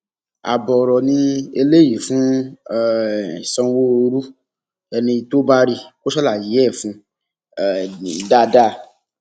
ààbọ ọrọ ni eléyìí fún um sanwóoru ẹni tó bá rí i kó ṣàlàyé ẹ fún un um dáadáa